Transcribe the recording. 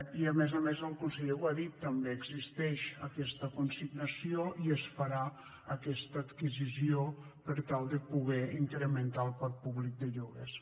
i a més a més el conseller ho ha dit també existeix aquesta consignació i es farà aquesta adquisició per tal de poder incrementar el parc públic de lloguers